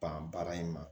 Ban baara in ma